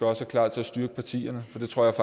også klar til at styrke partierne for det tror jeg